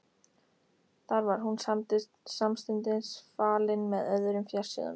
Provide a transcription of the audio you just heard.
Þar var hún samstundis falin með öðrum fjársjóðum.